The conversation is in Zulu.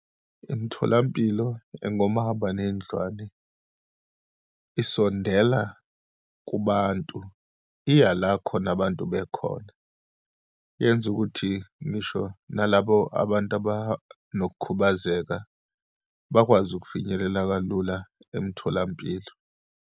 Imtholampilo engomahambanendlwane isondela kubantu, iya la khona abantu bekhona. Yenza ukuthi ngisho nalabo abantu abanokukhubazeka bakwazi ukufinyelela kalula emtholampilo.